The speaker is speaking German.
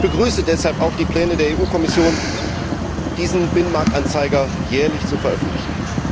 Ich begrüße deshalb auch die Pläne der EU Kommission, diesen Binnenmarktanzeiger jährlich zu veröffentlichen.